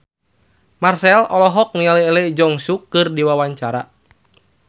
Marchell olohok ningali Lee Jeong Suk keur diwawancara